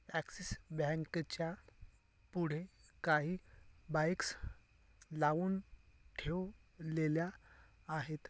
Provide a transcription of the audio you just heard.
Axis Bank च्या पुढे काही बाइक्स लाऊन ठेव लेल्या आहेत.